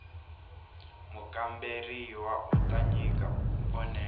mukamberiwa u ta nyika vonelo